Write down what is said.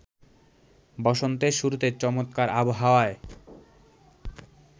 বসন্তের শুরুতে চমৎকার আবহাওয়ায়